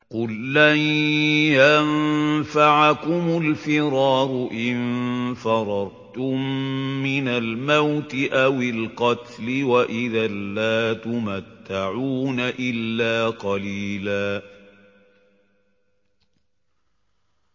قُل لَّن يَنفَعَكُمُ الْفِرَارُ إِن فَرَرْتُم مِّنَ الْمَوْتِ أَوِ الْقَتْلِ وَإِذًا لَّا تُمَتَّعُونَ إِلَّا قَلِيلًا